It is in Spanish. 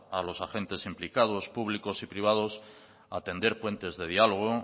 a los agentes implicados públicos y privados a tender puentes de diálogo